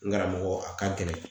N karamɔgɔ, a ka gɛlɛn.